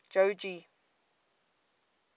jogee